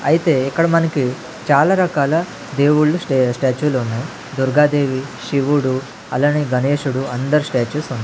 అయితే ఇక్కడ మనకి చాలా రకాల దేవుళ్ళు స్టే స్టాచులు ఉన్నాయి దుర్గాదేవి శివుడు అలానే గణేశుడు అందరి స్టాచుస్ వున్న--